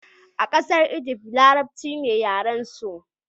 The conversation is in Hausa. a kasar Ijift, larabci ne yaren su